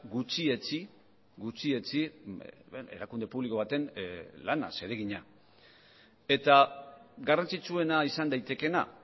gutxietsi gutxietsi erakunde publiko baten lana zeregina eta garrantzitsuena izan daitekeena